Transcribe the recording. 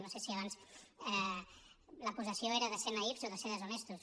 no sé si abans l’acusació era de ser naïfs o de ser deshonestos